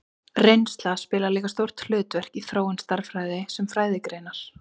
Reynsla spilar líka stórt hlutverk í þróun stærðfræði sem fræðigreinar.